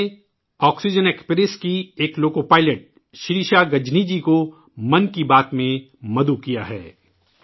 میں نے oxygen express کی ایک لوکو پائلٹ شریشا گجنی جی کو ' من کی بات ' میں مدعو کیا ہے